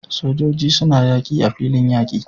Sojoji suna yaki a filin yaki